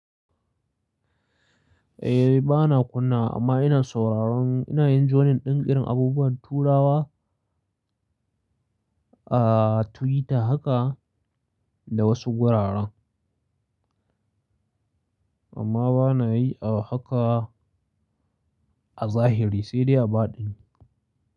Eh bana kunnawa amma ina sauraron, ina yin jonin ɗin irin abubuwan turawa a Twitter haka da wasu gurara. Amma bana yi a haka a zahiri sai dai a baɗini.